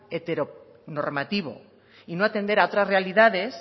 heteronormativo y no atender a otras realidades